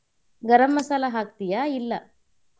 ಗರಂ ಮಸಾಲಾ ಹಾಕ್ತೀಯಾ ಇಲ್ಲಾ?